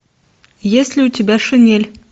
есть ли у тебя шинель